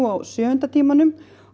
á sjöunda tímanum